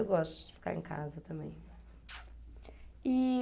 Eu gosto de ficar em casa também. E...